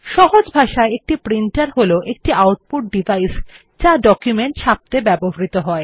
সহজ ভাষায় একটি প্রিন্টার হল একটি আউটপুট ডিভাইস যা একটি ডকুমেন্ট ছাপত়ে ব্যবহৃত হয়